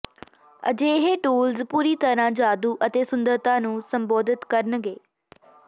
ਅਜਿਹੇ ਟੂਲਸ ਪੂਰੀ ਤਰ੍ਹਾਂ ਜਾਦੂ ਅਤੇ ਸੁੰਦਰਤਾ ਨੂੰ ਸੰਬੋਧਿਤ ਕਰਨਗੇ